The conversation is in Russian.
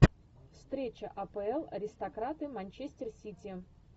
встреча апл аристократы манчестер сити